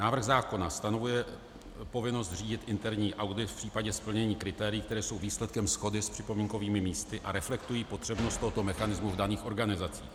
Návrh zákona stanovuje povinnost řídit interní audit v případě splnění kritérií, která jsou výsledkem shody s připomínkovými místy a reflektují potřebnost tohoto mechanismu v daných organizacích.